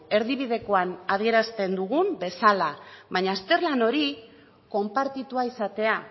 erdibidekoan adierazten dugun bezala baina azterlan hori konpartitua izatea